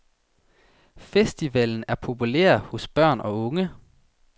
Festivalen er populær hos børn og unge.